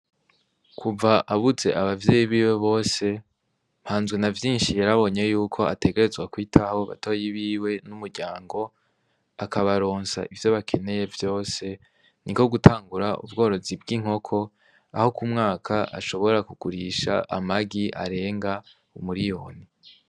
Kuva abuze abavyeyi biwe bose mpanzwe na vyinshi yarabonye yuko ategerezwa kwitabo batoyi biwe n'umuryango akabaronsa ivyo bakeneye vyose ni ko gutangura ubworozi bw'inkoko aho kumwaka ashobora kugurisha amagi arenga umuriyoni.